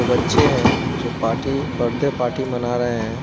बच्चे हैं जो पार्टी - बर्थडे पार्टी मना रहे हैं।